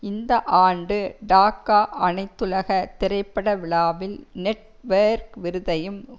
இந்த ஆண்டு டாக்கா அனைத்துலக திரைப்பட விழாவில் நெட்வேர்க் விருதையும்